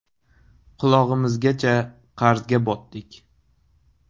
Qulog‘imizgacha qarzga botdik.